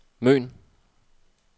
Møn